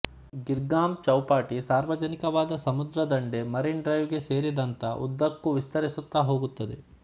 ಗಿರ್ಗಾಮ್ ಚೌಪಾತಿ ಸಾರ್ವಜನಿಕವಾದ ಸಮುದ್ರ ದಂಡೆ ಮೆರಿನ್ ಡ್ರೈವ್ ಗೆ ಸೇರಿದಂತ ಉದ್ದಕ್ಕೂ ವಿಸ್ತರಿಸುತ್ತಾಹೋಗುತ್ತದೆ